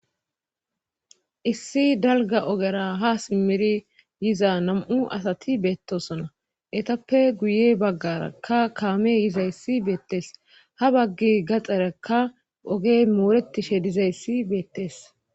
Issi dalga ogera ha simmiri yiza nam7u asati beettosona etappe guye baggarakka kaame yizayssi beettees ha bagge gaxarekka ogey mooretishe dizayssi beettees.